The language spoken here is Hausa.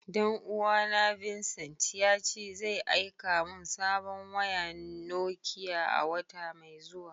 Dan uwa na Vincent, ya ce zai aika mun sabon wayan Nokiya a'wata mai zuwa.